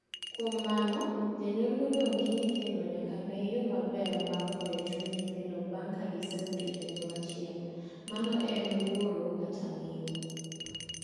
Kuom mano, janyuol modong' gi nyithindo nyaka nee yoo maber mar hoyo chuny nythindo bang' ka gisewito janyuaol achiel, ma en wuoro kata miyo.